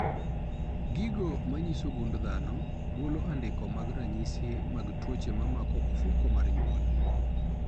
Gigo manyiso gund dhano golo andike mag ranyisi mag tuoche mamako ofuko mar nywol.